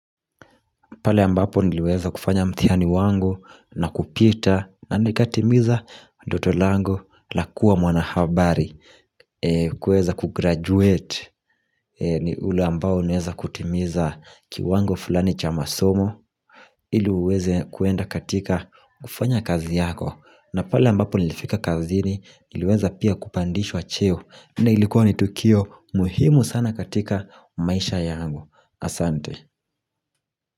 Pala ambapo niliweza kufanya mthihani wangu na kupita na nikatimiza ndoto langu la kuwa mwanahabari. Kuweza kugraduate ni ule ambao ni ule ambao unaweza kutimiza kiwango fulani cha masomo ili uweze kuenda katika kufanya kazi yako. Na pale ambapo nilifika kazini niliweza pia kupandishwa cheo. Ilikuwa ni tukio muhimu sana katikamaisha yangu. Asante.